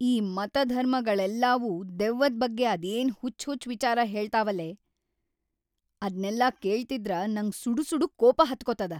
ಈ ಮತಧರ್ಮಗಳೆಲ್ಲಾವು ದೆವ್ವದ್‌ ಬಗ್ಗೆ ಅದೇನ್ ಹುಚ್ಚ್‌ ಹುಚ್ಚ್‌ ವಿಚಾರಾ ಹೇಳ್ತಾವಲೇ, ಅದ್ನೆಲ್ಲ ಕೇಳ್ತಿದ್ರ ನಂಗ್ ಸುಡುಸುಡು ಕೋಪ ಹತ್ಕೋತದ.